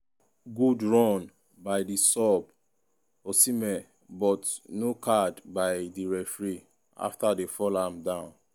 good run by di sub osihmen but no card by di referee afta dem fall am down.